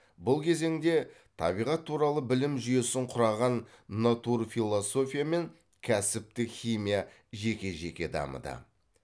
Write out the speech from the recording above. бұл кезеңде табиғат туралы білім жүйесін құраған натурфилософия мен кәсіптік химия жеке жеке дамыды